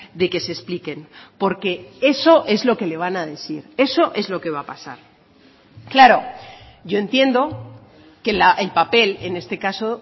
de que se expliquen porque eso es lo que le van a decir eso es lo que va a pasar claro yo entiendo que el papel en este caso